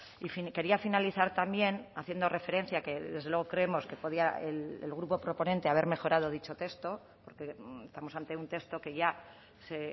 y quería finalizar también haciendo referencia a que desde luego creemos que podía el grupo proponente haber mejorado dicho texto porque estamos ante un texto que ya se